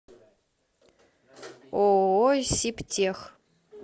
ооо сибтех